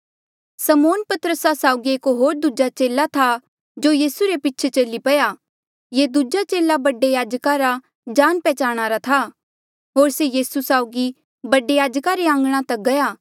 समौन पतरसा साउगी एक होर दूजा चेला था जो यीसू रे पीछे चली पया ये दूजा चेला बडे याजका रा जाणा पैहचाणा था होर से यीसू साउगी बडे याजका रे आंघणा तक गया